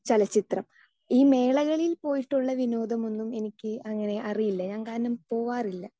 Speaker 2 ചലച്ചിത്രം.ഈ മേളകളിൽ പോയിട്ടുള്ള വിനോദം ഒന്നും എനിക്ക് അങ്ങനെ അറിയില്ല, കാരണം ഞാൻ അങ്ങനെ പോകാറില്ല.